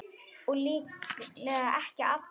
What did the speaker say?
Og líklega ekki allra.